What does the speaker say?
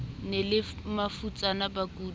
ne e le mafutsana bakudi